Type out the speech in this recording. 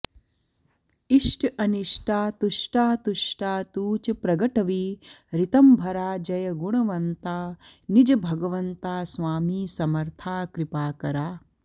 इष्ट अनिष्टा तुष्टातुष्टा तूच प्रगटवी ऋतंभरा जय गुणवंता निज भगवंता स्वामी समर्था कृपाकरा